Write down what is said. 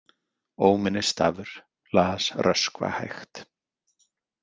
Óminnisstafur, las Röskva hægt.